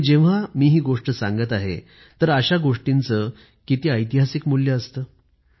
जेव्हा मी हि गोष्ट सांगत आहे तर अशा गोष्टींचं किती ऐतिहासिक मूल्य असतं